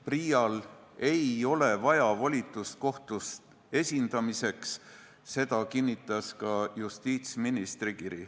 PRIA-l ei ole volitust kohtu jaoks vaja, seda kinnitas ka justiitsministri kiri.